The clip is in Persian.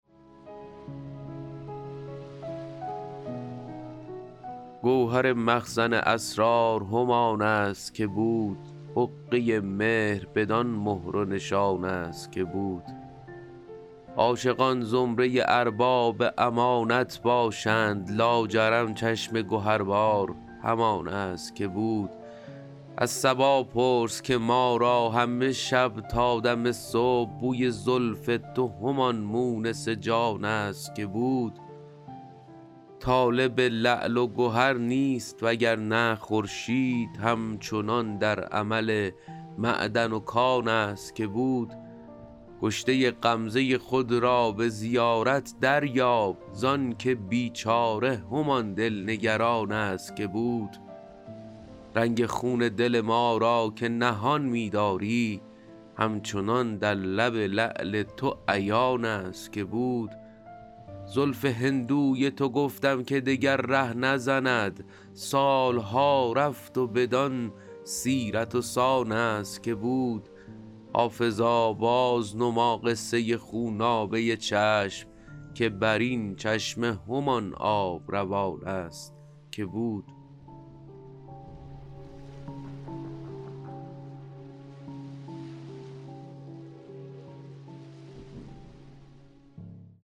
گوهر مخزن اسرار همان است که بود حقه مهر بدان مهر و نشان است که بود عاشقان زمره ارباب امانت باشند لاجرم چشم گهربار همان است که بود از صبا پرس که ما را همه شب تا دم صبح بوی زلف تو همان مونس جان است که بود طالب لعل و گهر نیست وگرنه خورشید هم چنان در عمل معدن و کان است که بود کشته غمزه خود را به زیارت دریاب زانکه بیچاره همان دل نگران است که بود رنگ خون دل ما را که نهان می داری همچنان در لب لعل تو عیان است که بود زلف هندوی تو گفتم که دگر ره نزند سال ها رفت و بدان سیرت و سان است که بود حافظا بازنما قصه خونابه چشم که بر این چشمه همان آب روان است که بود